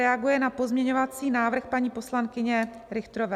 Reaguje na pozměňovací návrh paní poslankyně Richterové.